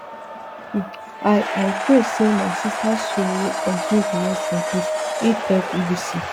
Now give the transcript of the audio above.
i i pray say my sisters soul continue to rest in peace e tell bbc